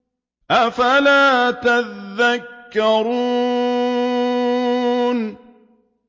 أَفَلَا تَذَكَّرُونَ